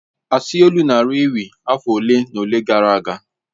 Asi olu nara ewi afọ ole na ole gara aga